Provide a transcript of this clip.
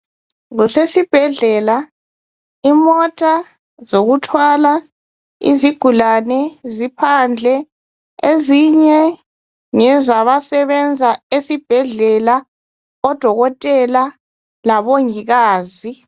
Kusesibhedlela.,imota zokuthwala izigulani ziphandle, ezinye ngezabasebenza esibhedlela odokotela labongikazi.